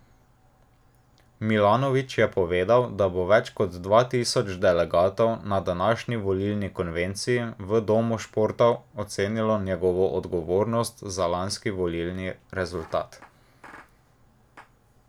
Milanović je povedal, da bo več kot dva tisoč delegatov na današnji volilni konvenciji v Domu športov ocenilo njegovo odgovornost za lanski volilni rezultat.